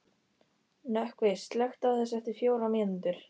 Nökkvi, slökktu á þessu eftir fjórar mínútur.